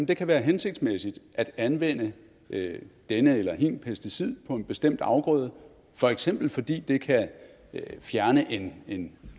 det kan være hensigtsmæssigt at anvende denne eller hin pesticid på en bestemt afgrøde for eksempel fordi det kan fjerne en